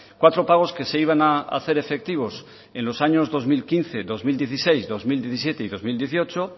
cuatro pagos que se iban a hacer efectivos en los años dos mil quince dos mil dieciséis dos mil diecisiete y dos mil dieciocho